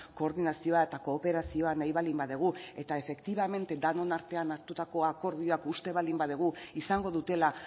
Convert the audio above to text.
koordinazioa eta kooperazioa nahi baldin badugu eta efektibamente denon artean hartutako akordioak uste baldin badugu izango dutela